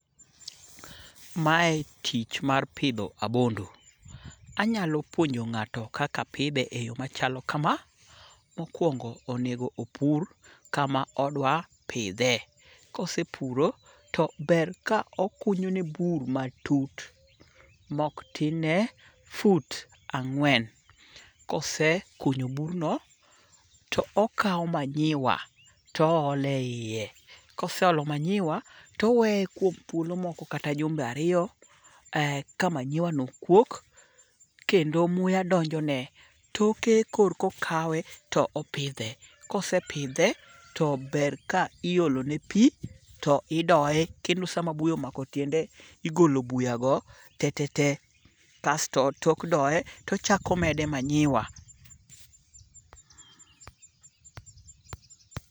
Mae tich mar pidho abondo. Anyalo puonjo nga'to kaka pidhe e yo machalo kama. Mokwongo onego opur kama odwa pidhe. Kosepuro, to ber ka okunyone bur matut mok tin ne fut ang'wen. Kosekunyo burno, to okawo manyiwa toolo e iye, koseolo manyiwa to oweye kuom thuolo kata jumbe ariyo ka manyiwano kuok, kendo muya donjone. Toke korko kawe to opidhe. kosepidhe, to ber ka iolone pi to idoye kendo sama buya omako tiende, igolo buyago tetete. Kasto tok doye, tochako mede manyiwa.